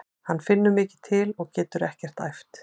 Hann finnur mikið til og getur ekkert æft.